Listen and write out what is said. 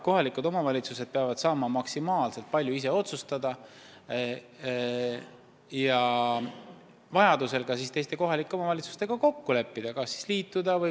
Kohalikud omavalitsused peavad saama maksimaalselt palju ise otsustada ja vajadusel teiste kohalike omavalitsustega kokku leppida, et liituda.